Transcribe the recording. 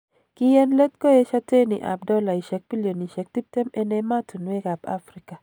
Kii en leet koesio teni ab $20bn en emotuwek ab Afrika.